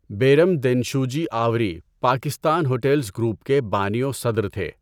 Bairam Dinshawji Avari Pakistan hotels group کے بانی و صدر تھے۔